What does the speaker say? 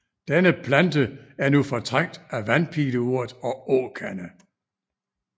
Denne plante er nu fortrængt af vandpileurt og åkande